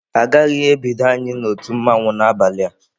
Agaghị ebido anyị na otu mmanwu n'abalị a..